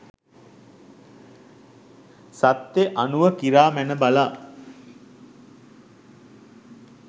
සත්‍යය අනුව කිරා මැන බලා